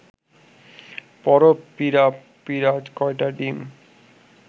পড়, পিঁড়া পিঁড়া কয়টা ডিম